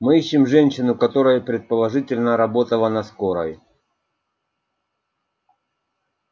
мы ищем женщину которая предположительно работала на скорой